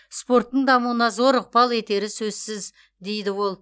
спорттың дамуына зор ықпал етері сөзсіз дейді ол